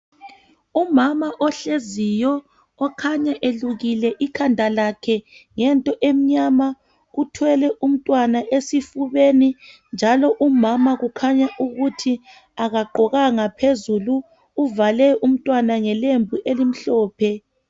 umama ohleziyo okhanya elukile ikhanda lakhe ngento emnyama uthwele umntwana umama kukhanya ukuthi akagqokanga phezulu uvale umntwana ngelembu elimhlophe